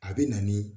A bɛ na ni